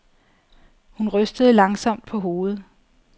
Hun rystede langsomt på hovedet.